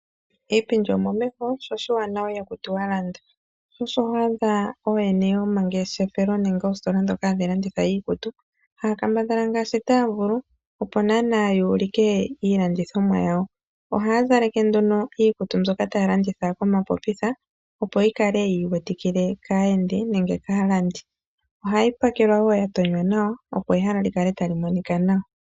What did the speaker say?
Iipindi omomeho, sho oshiwanawa ihaku ti wa landa. Osho ho adha ooyene yomangeshefelo haya kambadhaa ngaashi taya vulu opo ya ulike iilandithomwa yawo . Ohaya zaleke nduno iikutu mbyoka taya landitha komapopitha opo yi kale yi iwetikile kaalandi. Ohayi pakelwa wo ya tonywa nawa opo ehala li kale ta li monika nawa.